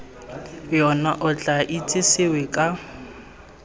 yona o tla itsesewe ka